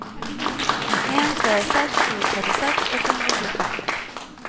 en tre seks sju trettiseks åtte hundre og tjuefem